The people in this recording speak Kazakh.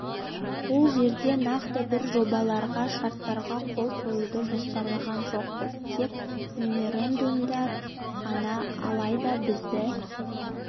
ол жерде нақты бір жобаларға шарттарға қол қоюды жоспарлаған жоқпыз тек меморандумдар ғана алайда бізді